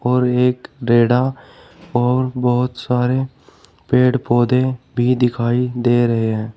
और एक रेड़ा और बहुत सारे पेड़ पौधे भी दिखाई दे रहे हैं।